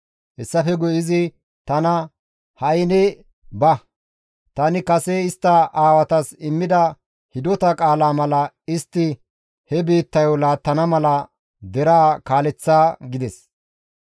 Hessafe guye izi tana, «Ha7i ne ba! Tani kase istta aawatas immida hidota qaalaa mala istti he biittayo laattana mala deraa kaaleththa» gides.